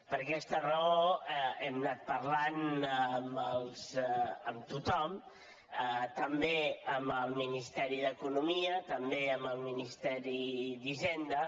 per aquesta raó hem anat parlant amb tothom també amb el ministeri d’economia també amb el ministeri d’hisenda